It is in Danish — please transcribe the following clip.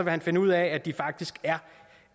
han finde ud af at de faktisk er